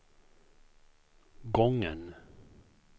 gången